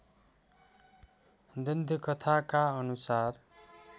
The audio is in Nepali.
दन्त्यकथाका अनुसार